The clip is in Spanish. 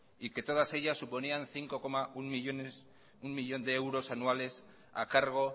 y que todas ellas suponían cinco punto uno millónes de euros anuales a cargo